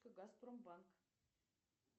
газпромбанк